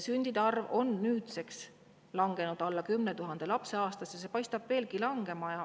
Sündide arv on nüüdseks langenud alla 10 000 lapse aastas ja see paistab veelgi langevat.